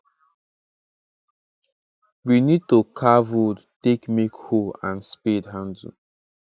we need to carve wood take make hoe and spade handle